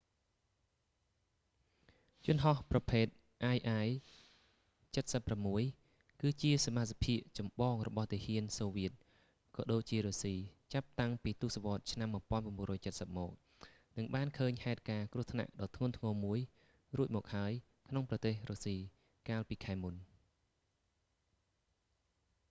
យន្តហោះប្រភេត ii-76 គឺជាសមាសភាគចំបងរបស់ទាហានសូវៀតក៏ដូចជារុស្ស៊ីចាប់តាំងពីទសវត្សឆ្នាំ1970 មក និងបានឃើញហេតុការណ៍គ្រោះថ្នាក់ដ៏ធ្ងន់ធ្ងរមួយរួចមកហើយក្នុងប្រទេសរុស្ស៊ីកាលពីខែមុន